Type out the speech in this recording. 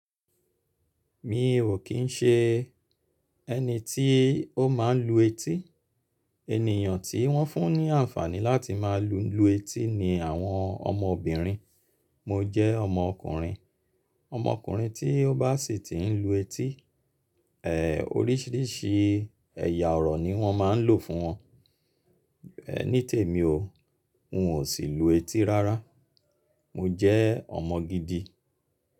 Mi ò kín ṣe ẹni tí ó máa ń lu etí. Ènìyàn tí wọ́n fún ní àǹfààní láti máa lu etí ni àwọn ọmọbìnrin. Mo jẹ́ ọmọkùnrin. Ọmọkùnrin tí ó bá sì tí ń lu etí, ẹ oríṣìíríṣìí ẹ̀yà ọ̀rọ̀ ni wọ́n máa ń lò fún wọn. Ní tèmi o, n ò sì lu etí rárá. Mo jẹ́ ọmọ gidi.